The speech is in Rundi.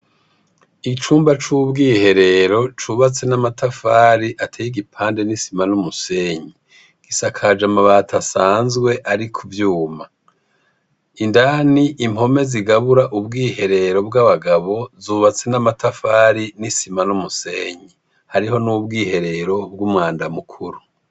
Icumba c'ubwiherero ,cubatse amatafari ateye igipande n'isima n'umusenyi , gisakaje amabati asanzwe ari kuvyuma, indani impome zigabura ubwiherero bw'abagabo ,zubatse n'amatafari n'isima n'umusenyi , hariho n'ubwihero bw'umwanda mukuru.